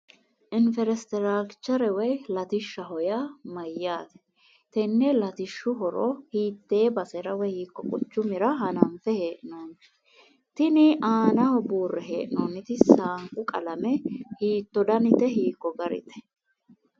Inferestirakichere woy latishshaho yaa mayyaate? Tenne latishshu horo hiitte basera woy hiikko quchumira hananfe hee'noonni? Tini aanaho buurre hee'noonniti saanqu qalame hiitto danite? Hiikko garite?